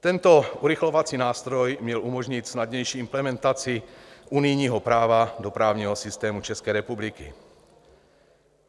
Tento urychlovací nástroj měl umožnit snadnější implementaci unijního práva do právního systému České republiky.